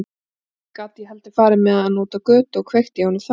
Ekki gat ég heldur farið með hann út á götu og kveikt í honum þar.